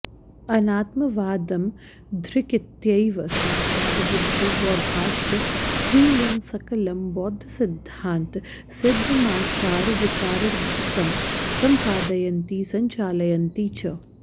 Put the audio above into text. अनात्मवादमधिकृत्यैव साक्षाद् बुद्धो बौद्धाश्च स्वीयं सकलं बौद्धसिद्धान्त सिद्धमाचारविचारादिकं सम्पादयन्ति सञ्चालयन्ति च